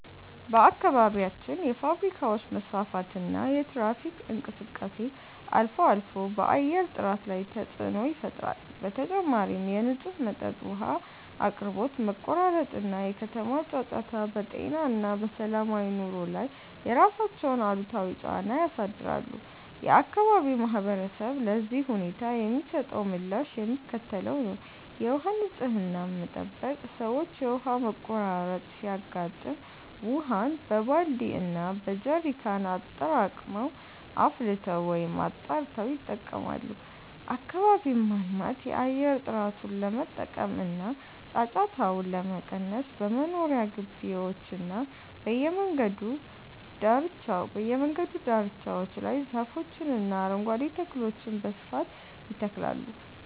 በአካባቢያችን የፋብሪካዎች መስፋፋትና የትራፊክ እንቅስቃሴ አልፎ አልፎ በአየር ጥራት ላይ ተፅዕኖ ይፈጥራል። በተጨማሪም የንጹህ መጠጥ ውሃ አቅርቦት መቆራረጥ እና የከተማ ጫጫታ በጤና እና በሰላማዊ ኑሮ ላይ የራሳቸውን አሉታዊ ጫና ያሳድራሉ። የአካባቢው ማህበረሰብ ለዚህ ሁኔታ የሚሰጠው ምላሽ የሚከተለው ነው፦ የውሃ ንፅህናን መጠበቅ፦ ሰዎች የውሃ መቆራረጥ ሲያጋጥም ውሃን በባልዲ እና በጀሪካን አጠራቅመው፣ አፍልተው ወይም አጣርተው ይጠቀማሉ። አካባቢን ማልማት፦ የአየር ጥራቱን ለመጠበቅ እና ጫጫታውን ለመቀነስ በመኖሪያ ግቢዎችና በየመንገዱ ዳርቻዎች ላይ ዛፎችንና አረንጓዴ ተክሎችን በስፋት ይተክላሉ።